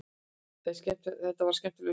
Þetta var skemmtilegur sigur.